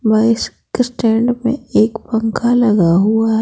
बस स्टैंड में पंखा लगा हुआ है।